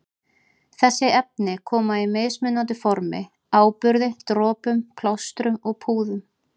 Þessi efni koma í mismunandi formi- áburði, dropum, plástrum og púðum.